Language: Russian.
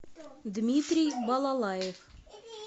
дмитрий балалаев